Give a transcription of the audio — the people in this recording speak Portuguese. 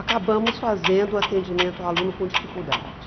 Acabamos fazendo o atendimento ao aluno com dificuldade.